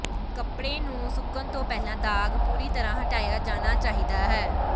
ਕੱਪੜੇ ਨੂੰ ਸੁੱਕਣ ਤੋਂ ਪਹਿਲਾਂ ਦਾਗ਼ ਪੂਰੀ ਤਰ੍ਹਾਂ ਹਟਾਇਆ ਜਾਣਾ ਚਾਹੀਦਾ ਹੈ